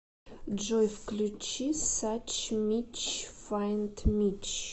джой включи сач мич файнд мич